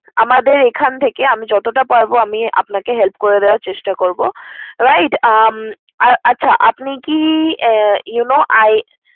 আমাদের এখান থেকে আমি যতটা পারবো আমি আপনাকে help করে দেয়ার চেষ্টা করবো। Right উম আর আচ্ছা আপনি কি you know I